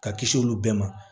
Ka kisi olu bɛɛ ma